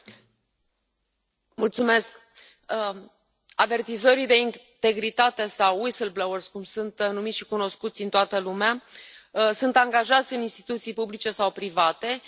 Avertizorii de integritate sau cum sunt numiți și cunoscuți în toată lumea, sunt angajați în instituții publice sau private și sunt oameni care doresc respectarea legii.